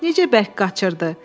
Necə bərk qaçırdı.